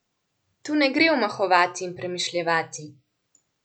Tu ne gre omahovati in premišljevati.